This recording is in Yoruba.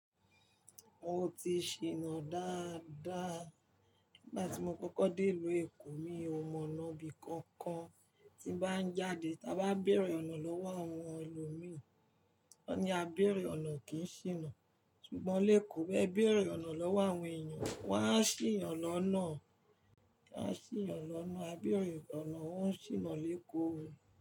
Mo ti ṣìnà dáadáa. Nígbà tí mo kọ́kọ́ dé ìlú Èkó mi o mọ ọnà ibi kankan, tí bá ń jáde ta bá bẹ̀rẹ̀ iranlọ́wọ́ àwọn ẹlòmíi, wọ́n ní a bẹ̀rẹ̀ ọ̀nà kì í ṣìnà, ṣùgbọ́n lékòó b'ẹ bẹ̀rẹ̀ ọ̀nà lọ́wọ́ àwọn èèyàn wọn á ṣì yàn lọ́nà, won a ṣì yàn lọ́nà, a bẹ̀rẹ̀ ọ̀nà, wọ́n ṣìnà lékòó.